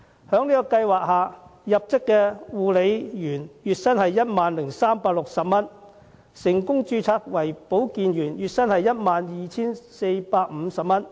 在這個計劃下，入職的護理員月薪為 10,360 元；成功註冊為保健員者，月薪則為 12,450 元。